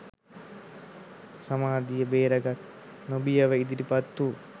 සමාධිය බේරගන්න නොබියව ඉදිරිපත් වූ